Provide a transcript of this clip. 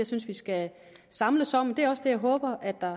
synes vi skal samles om det er også det jeg håber